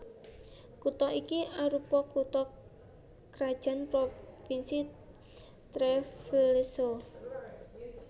Kutha iki arupa kutha krajan Provinsi Treviso